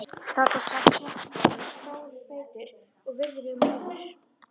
Þarna sat hreppstjórinn, stór, feitur og virðulegur maður.